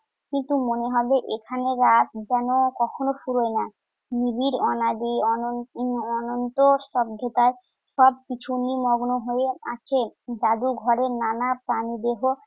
কিন্তু মনে হবে এখানে রাত যেন কখনো ফুরোয় না। নিবিড় অনাদি অন~ অনন্ত স্তব্ধতা সবকিছু মগ্ন হয়ে আছে। জাদুঘরের নানা প্রাণিদেহ